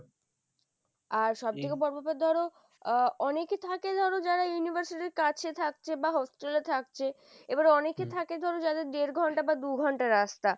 আর সব থেকে বড় ব্যাপার ধরো আহ অনেকে থাকে ধরো যারা university র কাছে থাকছে বা hostel এ থাকছে আবার অনেকে থাকে ধরো যাদের দেড় ঘণ্টা বা দু'ঘন্টা রাস্তা,